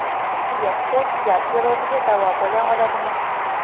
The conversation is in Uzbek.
Tuya suti jigar sirroziga davo bo‘la oladimi?.